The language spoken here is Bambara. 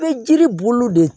Bɛ jiri bolo de